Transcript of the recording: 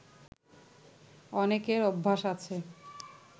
অনেকের অভ্যাস আছে